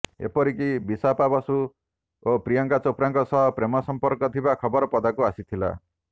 ଏପରିକି ବିପାସା ବାସୁ ଓ ପ୍ରିୟଙ୍କା ଚୋପ୍ରାଙ୍କ ସହ ପ୍ରେମ ସଂପର୍କ ଥିବା ଖବର ପଦାକୁ ଆସିଥିଲା